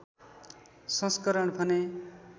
संस्करण भने